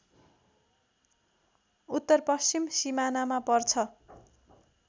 उत्तरपश्चिम सिमानामा पर्छ